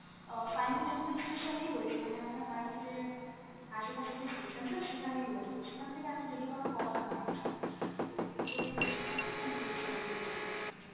আহ final delivery station এই রয়েছে, মানে আপনার বাড়ির যে আশেপাশে যে station sir সেখানেই রয়েছে, তো সেখান থেকে এত দেরি হওয়ার কথা নয় actually, তো ওটাই হচ্ছে concern i am very sorry for the issue actually।